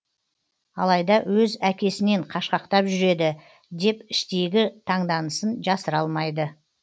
алайда өз әкесінен қашқақтап жүреді деп іштейгі таңданысын жасыра алмайды